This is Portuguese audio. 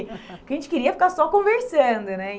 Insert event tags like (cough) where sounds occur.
(laughs) Porque a gente queria ficar só conversando, né?